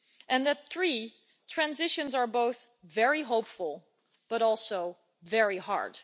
and three, that transitions are both very hopeful but also very hard.